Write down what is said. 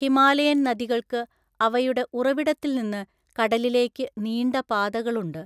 Himalayan നദികൾക്ക് അവയുടെ ഉറവിടത്തിൽ നിന്ന് കടലിലേക്ക് നീണ്ട പാതകളുണ്ട്.